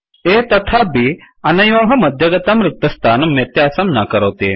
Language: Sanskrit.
A तथा B अनयोः मध्यगतं रिक्तस्थानं व्यत्यासं न करोति